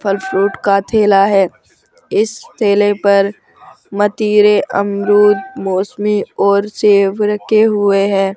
फल फ्रूट का ठेला है इस ठेले पर मतीरे अमरुद मौसमी और सेब रखे हुए हैं।